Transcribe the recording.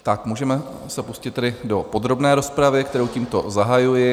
Tak můžeme se pustit tedy do podrobné rozpravy, kterou tímto zahajuji.